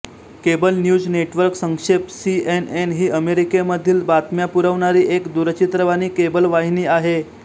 cable news network संक्षेपः CNN ही अमेरिकेमधील बातम्या पुरवणारी एक दूरचित्रवाणी केबल वाहिनी आहे